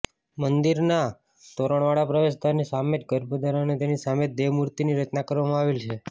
મંદિરના તોરણવાળા પ્રવેશદ્વારની સામે જ ગર્ભદ્વાર અને તેની સામે જ દેવમૂર્તિની રચના કરવામાં આવેલી છે